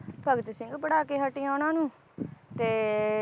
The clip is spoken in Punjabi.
ਭਗਤ ਸਿੰਘ ਪੜ੍ਹਾ ਕੇ ਹਟੀ ਆ ਉਹਨਾਂ ਨੂੰ ਤੇ